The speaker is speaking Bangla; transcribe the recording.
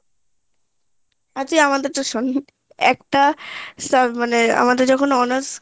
আচ্ছা তুই আমাদেরটা শোন একটা sub মানে আমাদের যখন honours